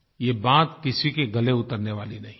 ये बात किसी के गले उतरने वाली नहीं है